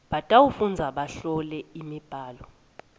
batawufundza bahlole imibhalo